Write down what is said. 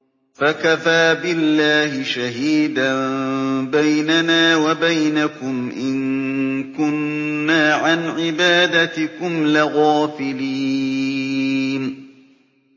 فَكَفَىٰ بِاللَّهِ شَهِيدًا بَيْنَنَا وَبَيْنَكُمْ إِن كُنَّا عَنْ عِبَادَتِكُمْ لَغَافِلِينَ